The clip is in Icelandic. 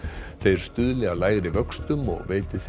þeir stuðli að lægri vöxtum og veiti þeim